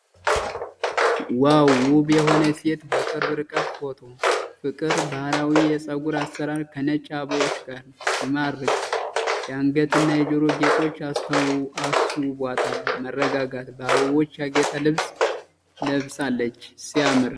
ዋው! ውብ የሆነች ሴት በቅርብ ርቀት ፎቶ። ፍቅር! ባህላዊ የፀጉር አሠራር ከነጭ አበባዎች ጋር። ሲማርክ። የአንገት እና የጆሮ ጌጦች አስውበዋታል። መረጋጋት። በአበቦች ያጌጠ ልብስ ለብሳለች። ሲያምር!